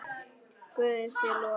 Guði sé lof.